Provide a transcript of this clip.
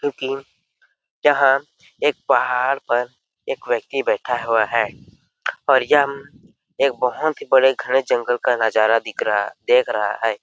क्योंकि यहाँ एक पहाड़ पर एक व्यक्ति बैठा हुआ है और यहाँ एक बहुत ही बड़े घने जंगल का नजारा देख रहा दिख रहा है।